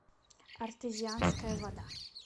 артезианская вода